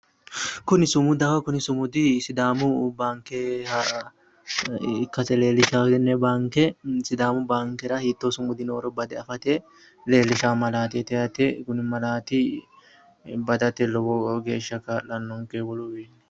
Kuni sumudaho kuni sumudi sidaamu baanikkeha ikkassi leelishawo sidaamu baanikera hitoo sumudi nooro bade afate leelishawo malaateti yaate kuni malaat badate lowo geesha ka'lanonike wolu wiini